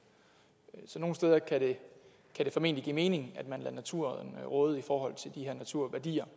så nogle steder kan det formentlig give mening at man lader naturen råde i forhold til de her naturværdier